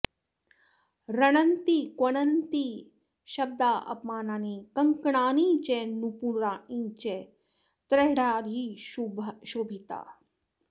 रणंति क्वणन्ति श्ब्दापमानानि कंकणानि च नूपुराणी च तैराढ्या शोभिता